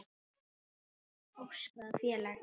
Óskráð félag.